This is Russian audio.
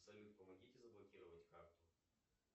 салют помогите заблокировать карту